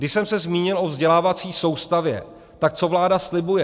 Když jsem se zmínil o vzdělávací soustavě, tak co vláda slibuje?